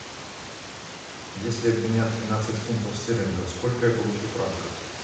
если обменять тринадцать фунтов стерлингов сколько я получу франков